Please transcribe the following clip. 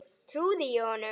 Trúði ég honum?